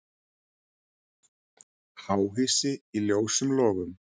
Háhýsi í ljósum logum